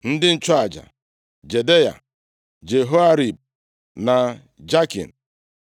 Ndị nchụaja: Jedaya, Jehoiarib na Jakin;